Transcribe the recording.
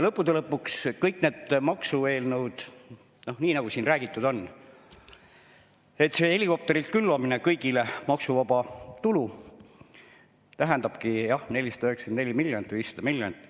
Lõppude lõpuks kõik need maksueelnõud, nii nagu siin räägitud on, see helikopterilt kõigile maksuvaba tulu külvamine tähendabki, jah, 494 miljonit või 500 miljonit.